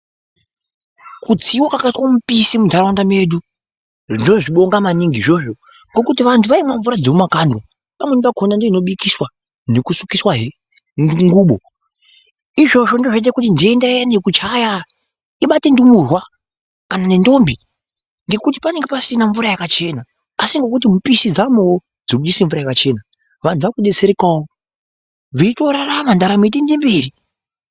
Kutsiwa kwakaite mupisi munharaunda medu ndozvibonga maningi izvozvo ngekuti vanhu vaimwe mvura dzemumakandwa pamweni pakona ndiyo inobikiswa nekusukiswa he ngubo izvozvo ndizvo zvinoite kuti nhenda iya yekuchaya ibate ndumurwa kana nendombi ngekuti pananenge pasina mvura yakachena asi nekuti mupisi dzaamowo dzekuise mvura yakachena vanhu vaakudetserekawo veitorarama ndaramo yeitoende mberi .